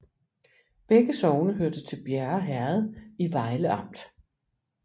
Begge sogne hørte til Bjerre Herred i Vejle Amt